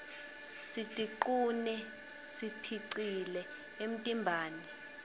sitiqune siphilcle emtimbani